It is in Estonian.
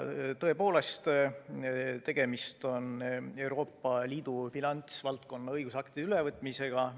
Tõepoolest, tegemist on Euroopa Liidu finantsvaldkonna õigusaktide ülevõtmisega.